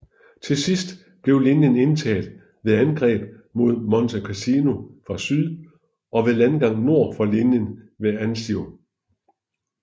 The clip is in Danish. Til sidst blev linjen indtaget ved angreb mod Monte Cassino fra syd og ved landgang nord for linjen ved Anzio